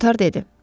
Koter dedi.